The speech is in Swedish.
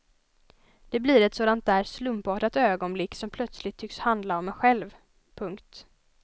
Det blir ett sådant där slumpartat ögonblick som plötsligt tycks handla om en själv. punkt